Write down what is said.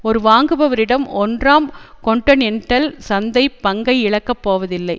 ஒரு வாங்குபவரிடம் ஒன்றாம் கொன்டனென்டல் சந்தை பங்கை இழக்கப் போவதில்லை